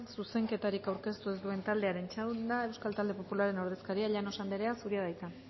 zuzenketarik aurkeztu ez duen taldearen txanda euskal talde popularraren ordezkaria llanos anderea zurea da hitza